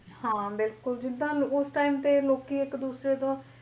ਹਾਂ ਬਿਲਕੁਲ ਜਿਦਾ ਉਸ time ਤੇ ਲੋਕੀ ਇੱਕ ਦੂਸਰੇ ਤੋਂ